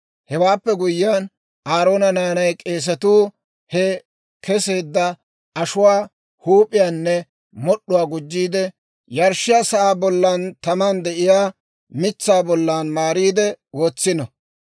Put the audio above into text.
Hewaappe guyyiyaan, Aaroona naanay k'eesatuu he keseedda ashuwaa huup'iyaanne mod'd'uwaa gujjiide, yarshshiyaa sa'aa bollan taman de'iyaa mitsaa bollan maariide wotsino.